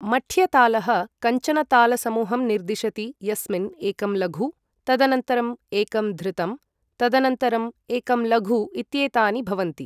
मठ्य तालः कञ्चन ताल समूहं निर्दिशति यस्मिन् एकं लघु, तदनन्तरं एकं धृतम्, तदनन्तरं एकं लघु इत्येतानि भवन्ति।